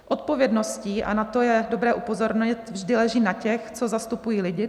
Odpovědnost, a na to je dobré upozornit, vždy leží na těch, co zastupují lidi.